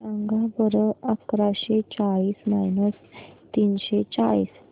सांगा बरं अकराशे चाळीस मायनस तीनशे चाळीस